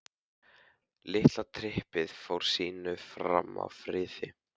Litla trippið fór sínu fram í friði.